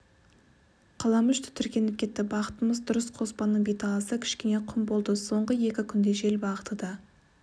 қаламүш тітіркеніп кетті бағытымыз дұрыс қоспанның беталысы кішкене құм болды соңғы екі күнде жел бағыты да